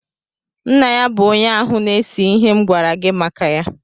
Nna ya bụ onye áhù na-èse ihe m gwara gị maka ya